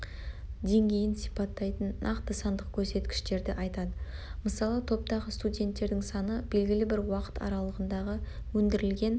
деңгейін сипаттайтын нақты сандық көрсеткіштерді айтады мысалы топтағы студенттердің саны белгілі бір уақыт аралығындағы өндірілген